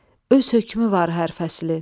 Öz hökmü var hər fəslin.